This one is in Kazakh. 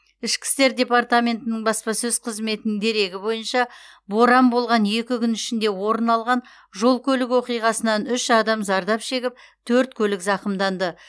үшкі істер департаментінің баспасөз қызметінің дерегі бойынша боран болған екі күн ішінде орын алған жол көлік оқиғасынан үш адам зардап шегіп төрт көлік зақымданды